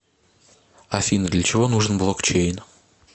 афина для чего нужен блокчейн